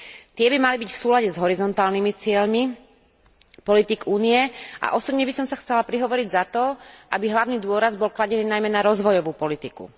Tie by mali byť v súlade s horizontálnymi cieľmi politík Únie a osobne by som sa chcela prihovoriť za to, aby hlavný dôraz bol kladený najmä na rozvojovú politiku.